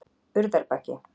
Urðarbaki